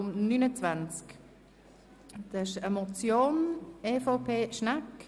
Es handelt sich um die Motion von Grossrätin Schnegg